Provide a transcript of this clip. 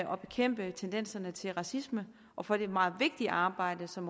og bekæmpe tendenserne til racisme og for det meget vigtige arbejde som